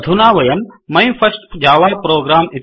अधुना वयं my first Java program